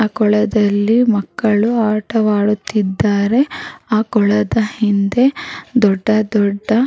ಆ ಕೊಳದಲ್ಲಿ ಮಕ್ಕಳು ಆಟ ಆಡುತ್ತಿದ್ದಾರೆ ಆ ಕೊಳದ ಹಿಂದೆ ದೊಡ್ಡ ದೊಡ್ಡ --